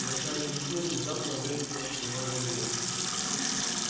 в начале весны внезапно выяснилась тревожная вещь